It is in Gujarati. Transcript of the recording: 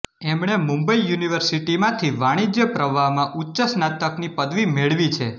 એમણે મુંબઈ યુનિવર્સિટીમાંથી વાણિજ્ય પ્રવાહમાં ઉચ્ચ સ્નાતકની પદવી મેળવી છે